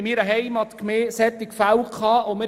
In meiner Heimatgemeinde gab es solche Fälle.